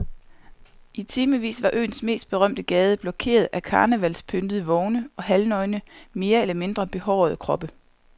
I timevis var øens mest berømte gade blokeret af karnevalspyntede vogne og halvnøgne mere eller mindre behårede kroppe.